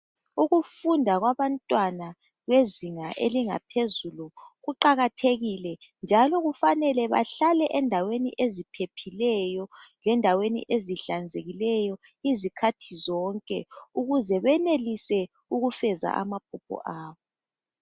Ukufunda kwabantwana bezinga elingaphezulu kuqakathekile njalo kufanele bahlale endaweni eziphephileyo lendaweni ezihlanzekileyo izikhathi zonke ukuze benelise ukufeza amaphupho abo.